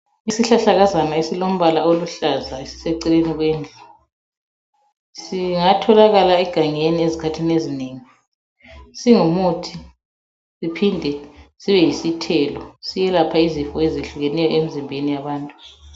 Isihlahlakazana esilombala oluhlaza esiseceleni kwendlu singatholakaka egangeni ezikhathini ezinengi singumuthi siphinde sibe yisithelo siyelapha izifo ezehlukeneyo emzimbeni yabantu.